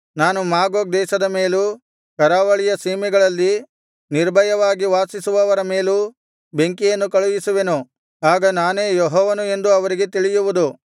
ನಾನು ಮಾಗೋಗ್ ದೇಶದ ಮೇಲೂ ಕರಾವಳಿಯ ಸೀಮೆಗಳಲ್ಲಿ ನಿರ್ಭಯವಾಗಿ ವಾಸಿಸುವವರ ಮೇಲೂ ಬೆಂಕಿಯನ್ನು ಕಳುಹಿಸುವೆನು ಆಗ ನಾನೇ ಯೆಹೋವನು ಎಂದು ಅವರಿಗೆ ತಿಳಿಯುವುದು